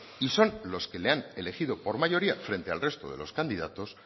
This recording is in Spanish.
y son los que le han elegido por mayoría frente al resto de los candidatos